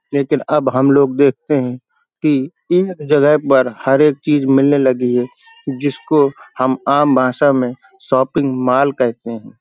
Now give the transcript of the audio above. लेकिन अब हम लोग देखते हैं की इन जगह पर हर एक चीज़ मिलने लगी हैं जिसको हम आम भाषा में शॉपिंग मॉल कहते हैं।